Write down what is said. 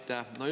Aitäh!